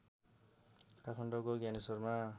काठमाडौँको ज्ञानेश्वरमा